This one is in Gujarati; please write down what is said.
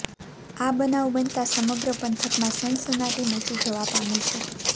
આ બનાવ બનતા સમગ્ર પંથકમાં સનસનાટી મચી જવા પામી છે